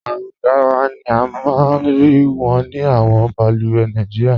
Awọn gáràwà ni a maa n rí wọn ni awọn bàlùwẹ̀ Nàìjíríà.